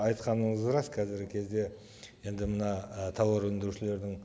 айтқаныңыз рас қазіргі кезде енді мына і тауар өндірушілердің